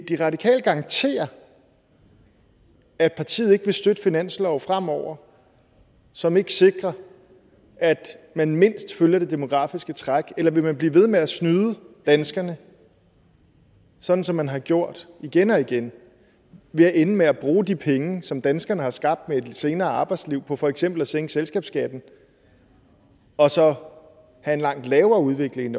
de radikale garantere at partiet ikke vil støtte finanslove fremover som ikke sikrer at man mindst følger det demografiske træk eller vil man blive ved med at snyde danskerne sådan som man har gjort igen og igen ved at ende med at bruge de penge som danskerne har skabt med et lidt senere arbejdsliv på for eksempel at sænke selskabsskatten og så have en langt lavere udvikling